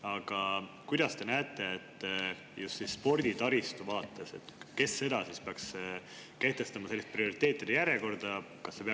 Aga kuidas te näete just sporditaristu vaates, kes peaks siin kehtestama sellise prioriteetide järjekorra?